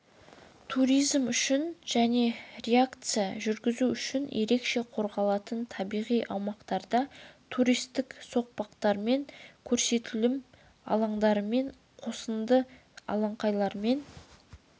туризм үшін және рекреация жүргізу үшін ерекше қорғалатын табиғи аумақтарда туристік соқпақтармен көрсетілім алаңдарымен қосынды алаңқайлармен